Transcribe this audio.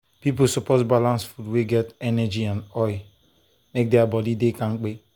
people suppose balance food wey get energy and oil make their body dey kampe.